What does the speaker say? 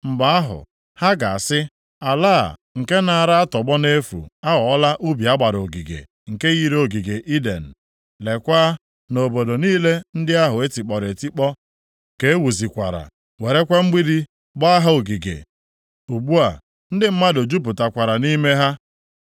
Mgbe ahụ, ha ga-asị, “Ala a, nke naara atọgbọ nʼefu, aghọọla ubi a gbara ogige, nke yiri ogige Iden. Leekwa na obodo niile ndị ahụ e tikpọrọ etikpọ, ka e wuzikwara, werekwa mgbidi gbaa ha ogige. Ugbu a, ndị mmadụ jupụtakwara nʼime ha.”